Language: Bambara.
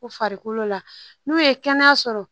U farikolo la n'u ye kɛnɛya sɔrɔ